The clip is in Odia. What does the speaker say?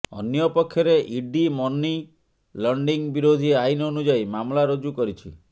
ଅନ୍ୟପକ୍ଷରେ ଇଡି ମନି ଲଣ୍ଡରିଂ ନିରୋଧୀ ଆଇନ ଅନୁଯାୟୀ ମାମଲା ରୁଜୁ କରିଛି